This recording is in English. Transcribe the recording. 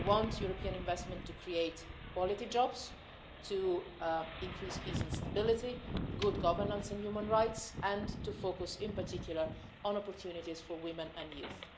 We want European investment to create quality jobs, to increase peace, stability and good governance in human rights, and to focus in particular on opportunities for women and youth.